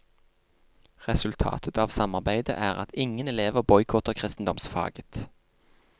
Resultatet av samarbeidet er at ingen elever boikotter kristendomsfaget.